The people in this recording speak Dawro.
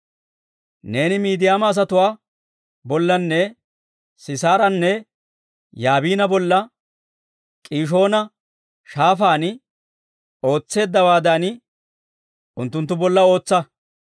Neeni Midiyaama asatuwaa bollanne Sisaaranne Yaabina bolla, K'iishoona Shaafaan ootseeddawaadan unttunttu bolla ootsa.